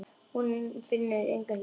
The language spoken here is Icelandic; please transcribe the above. En hún finnur enga lykt.